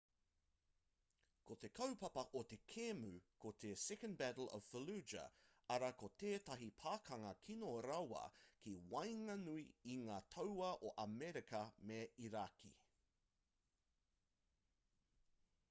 ko te kaupapa o te kēmu ko te second battle of fallujah arā ko tētahi pakanga kino rawa ki waenganui i ngā tauā o amerika me irāki